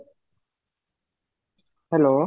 hello